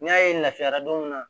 N'i y'a ye lafiyara don min na